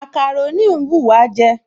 Màkàrónì ń wùwá jẹ